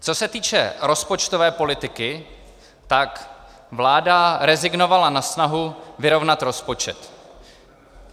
Co se týče rozpočtové politiky, tak vláda rezignovala na snahu vyrovnat rozpočet.